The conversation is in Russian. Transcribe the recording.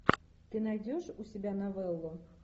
ты найдешь у себя новеллу